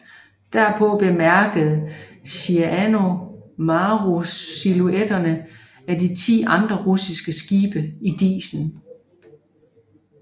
Derpå bemærkede Shinano Maru silhuetterne af ti andre russiske skibe i disen